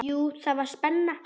Jú, það var spenna.